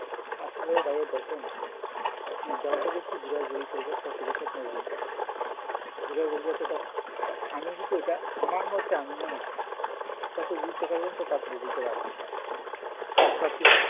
আসলে ভাইয়া দেখেন যত বেশি ঘুরাঘুরি করবেন ততো বেশি অভিজ্ঞতা হবে আমি কিন্তু এটা আমার যত ঘুরতে পারবেন ততো অভিজ্ঞ বাড়বে